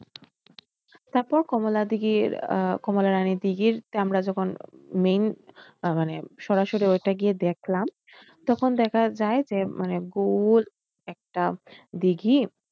তারপর কমলা দীঘির আহ কমলা রানী দীঘির আমরা যখন main আ মানে সরাসরি এটা গিয়ে দেখলাম তখন দেখা যায় যে মানে গোল একটা দিঘী।